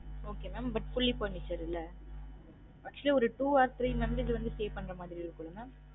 Okay mam but fully furnished இல்ல actually ஒரு two or three member வந்து stay பண்ற மாதிரி இருக்குங்க mam